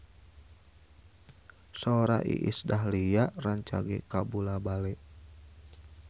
Sora Iis Dahlia rancage kabula-bale